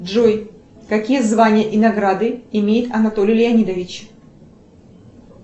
джой какие звания и награды имеет анатолий леонидович